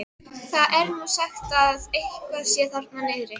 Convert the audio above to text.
Það er nú sagt að eitthvað sé þar niðri.